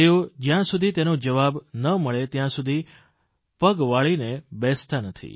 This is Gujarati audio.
તેઓ જયાં સુધી તેનો જવાબ ન મળે ત્યાં સુધી પગવાળીને બેસતા નથી